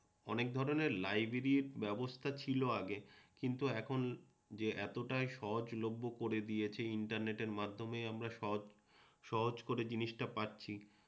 অনেক ধরণের লাইব্রেরির ব্যবস্থা ছিল আগে কিন্তু এখন যে এতটাই সহজলভ্য করে দিয়েছে ইন্টারনেটের মাধ্যমে আমরা সহজ সহজ করে জিনিসটা পাচ্ছি